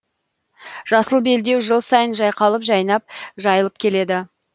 жасыл белдеу жыл сайын жайқалып жайнап жайылып келеді